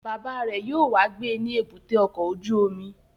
Bàbá rẹ̀ yóò wá gbé ní èbúté ọkọ̀ ojú omi